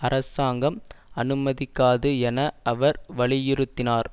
அரசாங்கம் அனுமதிக்காது என அவர் வலியுறுத்தினார்